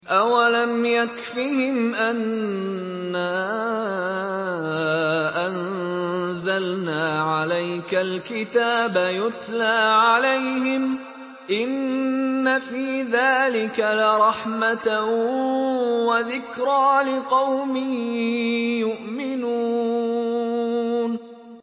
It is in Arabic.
أَوَلَمْ يَكْفِهِمْ أَنَّا أَنزَلْنَا عَلَيْكَ الْكِتَابَ يُتْلَىٰ عَلَيْهِمْ ۚ إِنَّ فِي ذَٰلِكَ لَرَحْمَةً وَذِكْرَىٰ لِقَوْمٍ يُؤْمِنُونَ